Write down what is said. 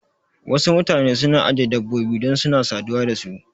Wasu mutane suna ajiye dabbobi dan suna saduwa da su